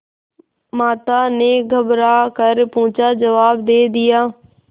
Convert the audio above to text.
माता ने घबरा कर पूछाजवाब दे दिया